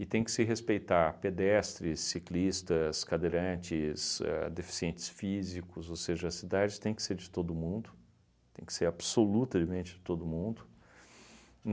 E tem que se respeitar pedestres, ciclistas, cadeirantes, ahn deficientes físicos, ou seja, a cidade tem que ser de todo mundo, tem que ser absolutamente de todo mundo.